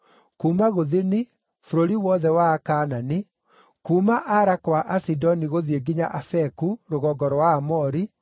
kuuma gũthini, bũrũri wothe wa andũ a Kaanani, kuuma Ara kwa Asidoni gũthiĩ nginya Afeku, rũgongo rwa Aamori,